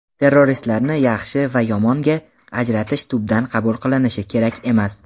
"Terroristlarni "yaxshi" va "yomon"ga ajratish tubdan qabul qilinishi kerak emas.